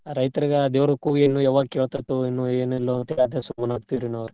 ರೈತರ್ಗ ಆ ದೇವ್ರ್ ಕೂಗು ಏನೋ ಯಾವಾಗ್ ಕೇಳ್ತಿರ್ತ್ತೋ ಏನೋ ಏನಿಲ್ಲೋ ಏನೋ ಮಾಡ್ತೇವಿರಿ ನಾವ.